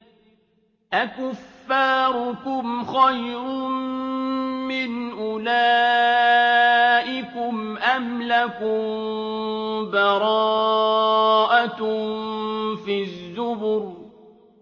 أَكُفَّارُكُمْ خَيْرٌ مِّنْ أُولَٰئِكُمْ أَمْ لَكُم بَرَاءَةٌ فِي الزُّبُرِ